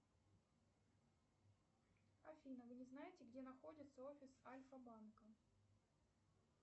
афина вы не знаете где находится офис альфа банка